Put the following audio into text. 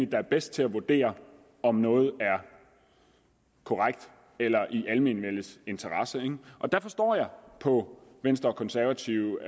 der er bedst til at vurdere om noget er korrekt eller i almenvellets interesse der forstår jeg på venstre konservative